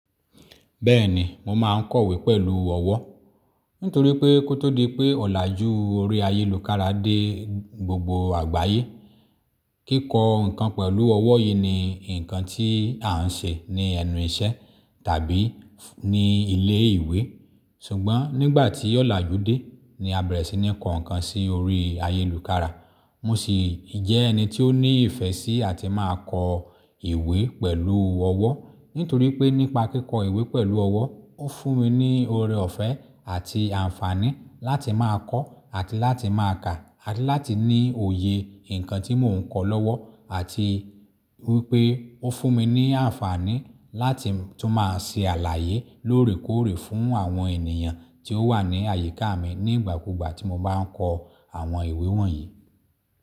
Bẹ́ẹ̀ni mo máa ń kọ̀wé pẹ̀lú ọwọ́. Nítorí pé kó tó di pé ọ̀làjú orí ayélu kára dé gbogbo àgbáyé. Kíkọ ǹkan pẹ̀lú ọwọ́ yìí ni ǹkan tí à ń ṣe ní ẹnu iṣẹ́ tàbí ní ilé ìwé. Ṣùgbọ́n nígbà tí ọ̀làjú dé ni a bẹ̀rẹ̀ sí ní kọ ǹkan sí orí ayélukára. Mo sì jẹ́ ẹni tí ó ní ìfẹ́ sí àti máa kọ ìwé pẹ̀lú ọwọ́. Nítorí pé nípa kíkọ ìwé pẹ̀lú ọwọ́ ó nfún mi ní ọrẹ ọ̀fẹ́ àti àǹfààní láti máa kọ́ àti láti máa kà àti láti ní òye ǹkan tí mo ń kọ lọ́wọ́ àti wípé ó fún mi ní àǹfààní láti tún máa ṣe àlàyé lóòrè kóòrè fún àwọn ènìyàn tí ó wà ní àyíká mi nígbà kúgbà tí mo bá ń kọ àwọn ìwé wọ̀nyí.